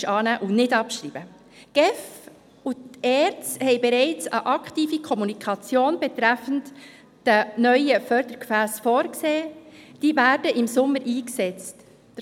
Die GEF und die ERZ haben bereits eine aktive Kommunikation betreffend die neuen Fördergefässe, die im Sommer eingesetzt werden, vorgesehen.